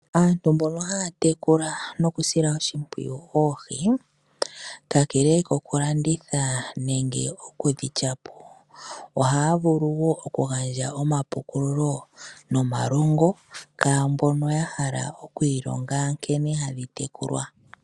Aantu mbono haya tekula noku sila oshimpwiyu oohi, kakele ko ku landitha, nenge okudhilyapo oha ya vulu woo okugandja omapukululo, nomalongo kwaambono ya hala okwiilonga nkene hadhi tekulwa.